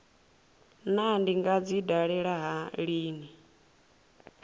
naa ndi nga dzi dalela lini